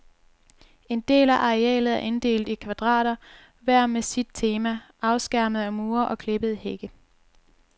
En del af arealet er inddelt i kvadrater, hver med sit tema, afskærmet af mure og klippede hække.